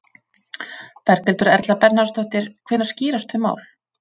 Berghildur Erla Bernharðsdóttir: Hvenær skýrast þau mál?